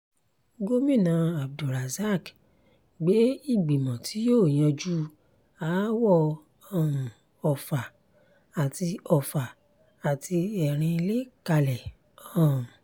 gomina abdulrozak gbé ìgbìmọ̀ tí yóò yanjú aáwọ̀ um ọfà àti ọfà àti erinlẹ̀ kalẹ̀ um